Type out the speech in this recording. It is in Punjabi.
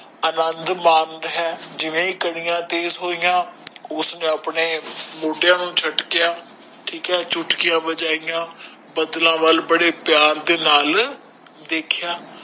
ਅਨਦ ਮਨ ਰਿਹਾ ਜਿੰਦਾ ਕਾਨਿਆਂ ਸ਼ੁਰੂ ਹੋਇਆ ਉਸਨੇ ਆਪਣੇ ਮੋੜਿਆ ਨੂੰ ਝਟਕਿਆਂ ਚੁਟਕੀਆਂ ਬਜਾਇ ਤੇ ਬਦਲਾ ਵਾਲ ਬਾਰੇ ਪੀਰ ਦੇ ਨਾਲ ਦੇਖਿਆ